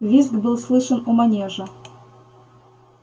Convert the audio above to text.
визг был слышен у манежа